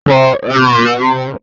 Fo ẹnu rẹ mó!